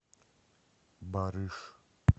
барыш